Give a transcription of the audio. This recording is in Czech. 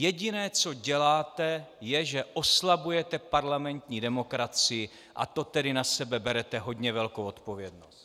Jediné, co děláte, je, že oslabujete parlamentní demokracii, a to tedy na sebe berete hodně velkou odpovědnost.